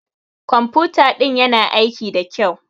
Ƙwamfuta ɗin ƴana aiki ɗa ƙyau.